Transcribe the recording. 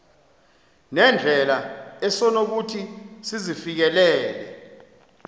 nendlela esonokuthi sizifikelele